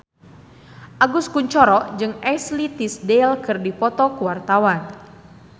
Agus Kuncoro jeung Ashley Tisdale keur dipoto ku wartawan